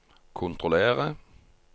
kontrollere